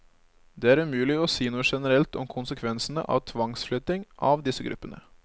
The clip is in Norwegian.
Det er umulig å si noe generelt om konsekvensene av tvangsflytting av disse gruppene.